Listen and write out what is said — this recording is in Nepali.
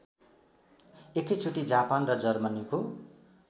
एकैचोटि जापान र जर्मनीको